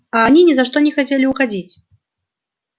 а они ни за что не хотели уходить